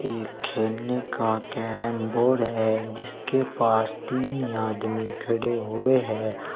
ये खेलने का कैरम बोर्ड है जिसके पास तीन आदमी खड़े हुए हैं।